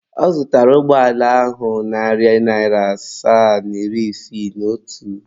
Ọ zụtara ụgbọala ahụ narị naira asaa na iri isii na otu.